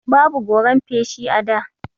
Babu goran feshi a da.